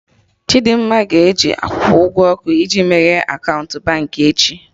Chidimma ga-eji akwụkwọ ụgwọ ọkụ iji meghee akaụntụ Baankị echi